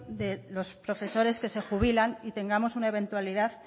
de los profesores que se jubilan y tengamos un eventualidad